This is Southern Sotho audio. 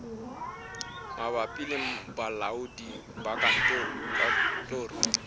mabapi le balaodi ba katoloso